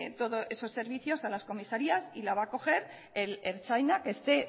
todos esos servicios a las comisarías y la va a coger el ertzaina que esté